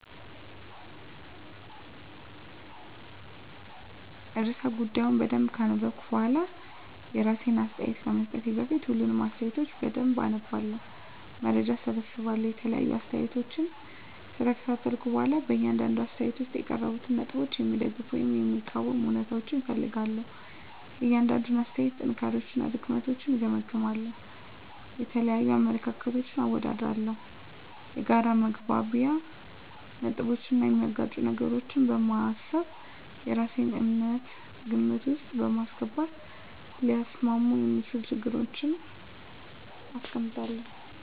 *ርዕሰ ጉዳዩን በደንብ ካነበብኩ በኋላ፤ *የራሴን አስተያየት ከመስጠቴ በፊት፦ ፣ሁሉንም አስተያየቶች በደንብ አነባለሁ፣ መረጃ እሰበስባለሁ የተለያዩ አስተያየቶችን ከተከታተልኩ በኋላ በእያንዳንዱ አስተያየት ውስጥ የቀረቡትን ነጥቦች የሚደግፉ ወይም የሚቃወሙ እውነታዎችን እፈልጋለሁ፤ * የእያንዳንዱን አስተያየት ጥንካሬዎችና ድክመቶችን እገመግማለሁ። * የተለያዩ አመለካከቶችን አወዳድራለሁ። የጋራ መግባቢያ ነጥቦችን እና የሚጋጩ ነገሮችን በማሰብ የራሴን እምነት ግምት ውስጥ በማስገባት ሊያስማሙ የሚችሉ ሀሳቦችን አስቀምጣለሁ።